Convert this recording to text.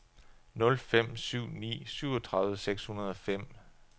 nul fem syv ni syvogtredive seks hundrede og fem